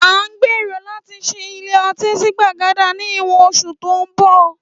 À ń gbèrò láti ṣí ilé ọtí sí Gbàgádà ni ìwọ̀n oṣù tó ń bọ̀ lóun